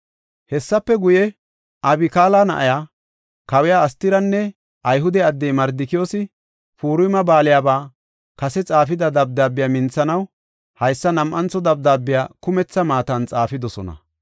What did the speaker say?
Hessafe guye, Abikaala na7iya, kawiya Astiranne Ayhude addey Mardikiyoosi, Purima Baaliyaba kase xaafida dabdaabiya minthanaw haysa nam7antho dabdaabiya kumetha maatan xaafidosona.